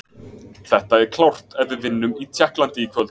Þetta er klárt ef við vinnum í Tékklandi í kvöld.